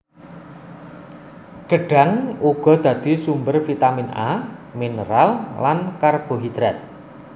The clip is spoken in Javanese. Gedhang uga dadi sumber vitamin A minêral lan karbohidrat